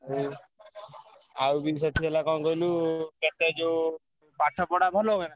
ଆଉ ଆଉ ବି ସେଠି ହେଲା କଣ କହିଲୁ କେତେ ଯୋଉ ପାଠ ପଢା ଭଲ ହୁଏ ନା?